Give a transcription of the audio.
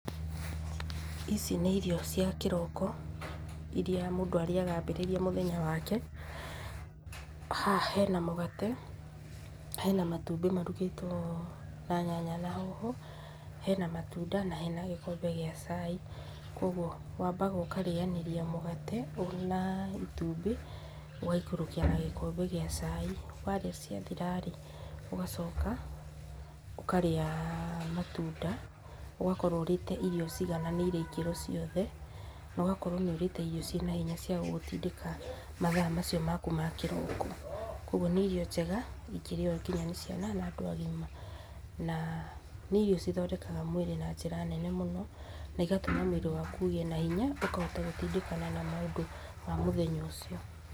Ici nĩ irio cia kĩroko irĩa mũndũ arĩaga ambĩrĩria mũthenya wake. Haha hena mũgate, hena matumbĩ marugĩtwo na nyanya na hoho, hena matunda, na hena gĩkombe gĩa cai, kuoguo wambaga ũkarĩanĩria mũgate na itumbĩ, ũgaikũrũkia na gĩkombe gĩa cai. Warĩa ciathira-rĩ, ũgacoka ũkarĩa matunda ũgakorwo ũrĩte irio cigananĩire ikĩro ciothe, na ũgakorwo nĩũrĩte irio ciĩ na hinya cia gũgũtindĩka mathaa macio maku ma kĩroko, kuoguo nĩ irio njega ingĩrĩo kinya nĩ ciana na andũ agima, na nĩ irio cithondekaga mwĩrĩ na njĩra nene mũno, na igatũma mwĩrĩ waku ũgĩe na hinya ũkahota gũtindĩkana na maũndũ ma mũthenya ũcio.